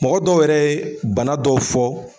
Mɔgɔ dɔw yɛrɛ ye bana dɔw fɔ